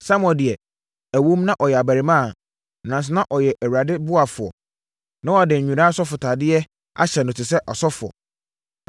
Samuel deɛ, ɛwom na ɔyɛ abarimaa, nanso na ɔyɛ Awurade ɔboafoɔ. Na wɔde nwera asɔfotadeɛ ahyɛ no te sɛ ɔsɔfoɔ.